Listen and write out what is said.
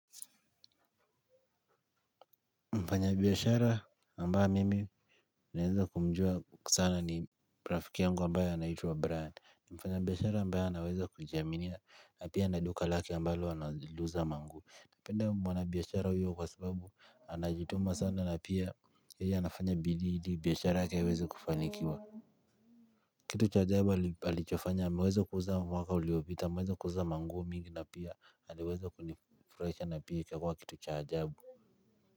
Mfanya biashara ambaye mimi naeza kumjua sana ni rafiki yangu ambaye inaitwa Brian. Mfanya biashara ambaye anaweza kujiaminia na pia ana duka lake ambalo analiuza manguo. Napenda mwana biashara huyo kwa sababu anajituma sana na pia yeye anafanya bidii ili biashara yake iweze kufanikiwa. Kitu cha ajabu alichofanya ameweza kuuza mwaka uliopita ameweza kuuza manguo mingi na pia aliweza kunifurahisha na pia ikakua kitu cha ajabu.